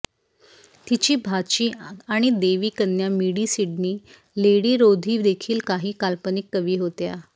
तिची भाची आणि देवी कन्या मिडी सिडनी लेडी रोधी देखील काही काल्पनिक कवी होत्या